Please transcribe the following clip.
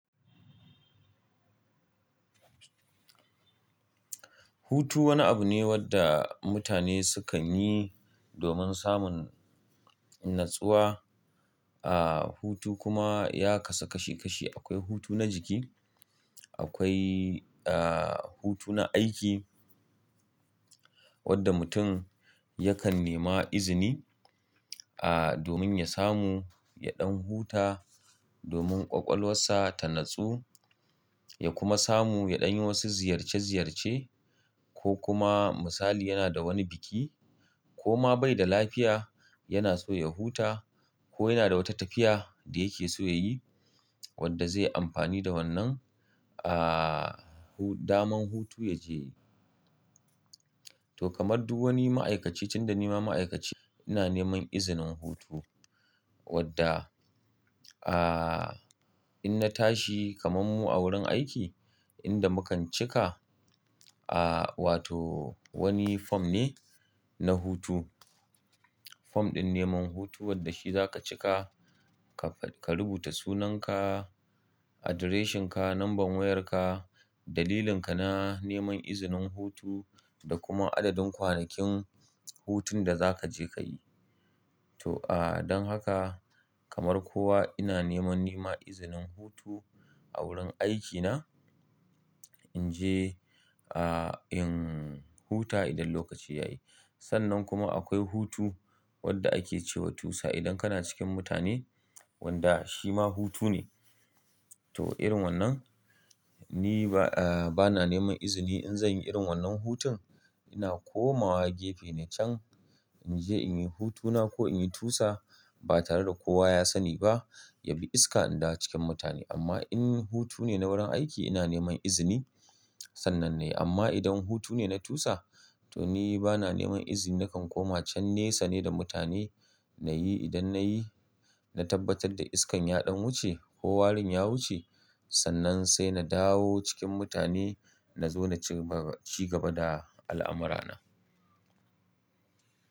Hutu wani abu ne wanda mutane sukan yi domin samun natsuwa. Aaa, hutu kuma ya kasu kashi kashi. Akwai hutu na jiki, akwai, aaa, hutu na aiki wanda mutum yakan nema izini,, domin ya samu ya ɗan huta domin ƙwaƙwalwarsa ta natsu, ya kuma samu ya ɗan yi wasu ziyarce ziyarce ko kuma misali yana da wani biki ko ma bai da lafiya yana so ya huta ko yana da wata tafiya da yake so ya yi wadda zai amfani da wannan, hu-- daman hutu ya je. To kamar duk wani ma'aikaci tun da nima ma'aikaci ina neman izinin hutu wadda, aa, in na tashi kamammu a wurin aiki inda mukan cika,, wato wani form ne na hutu. Form ɗin neman hutu wadda shi za ka cika, ka ruɓuta sunan ka, address shin ka, number wayar ka, dalilin ka na neman izinin hutu da kuma adadin kwanakin hutun da za ka je ka yi. To,, don haka kamar kowa ina neman nema izinin hutu a wurin aikina in je,, in huta idan lokaci ya yi. Sannan kuma akwai hutu wadda ake cewa tusa idan kana cikin mutane wanda shi ma hutu ne. To irin wannan ni ba, aa, bana neman izini in zanyi irin wannan hutun ina komawa gefe na can in je in yi hutuna ko in yi tusa ba tare da kowa ya sani ba yabi iska in dawo cikin mutane. Amma in hutu ne na wurin aiki ina neman izini. Sannan ne. Amma idan hutu ne na tusa to ni bana neman izini nakan koma can nesa ne da mutane na yi idan na yi, na tabbatar da iskan ya ɗan wuce ko warin ya wuce sannan sai na dawo cikin mutane na zo na ci gaba da al'amurana.